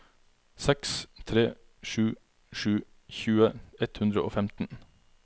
seks tre sju sju tjue ett hundre og femten